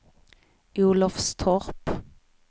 Olofstorp